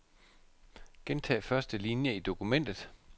Gentag første linie i dokumentet.